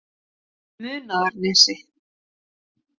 Munaðarnesi